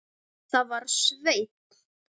Það var Sveinn.